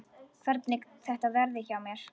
Hvernig þetta verði hjá mér.